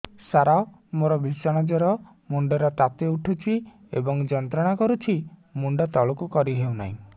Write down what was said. ସାର ମୋର ଭୀଷଣ ଜ୍ଵର ମୁଣ୍ଡ ର ତାତି ଉଠୁଛି ଏବଂ ଯନ୍ତ୍ରଣା କରୁଛି ମୁଣ୍ଡ ତଳକୁ କରି ହେଉନାହିଁ